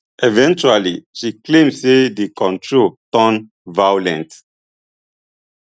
eventually she claim say di control turn violent